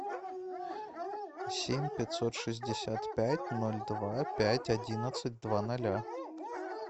семь пятьсот шестьдесят пять ноль два пять одиннадцать два ноля